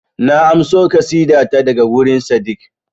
Na amso ƙasida ta daga wurin Sadeeq